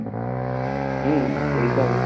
হম Ritam ই